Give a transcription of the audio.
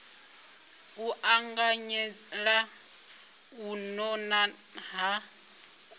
u anganyela u nona ha